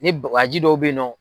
Ni waji dɔw bɛ yen nɔ.